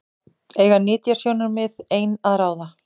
Eiga nytjasjónarmið ein að ráða?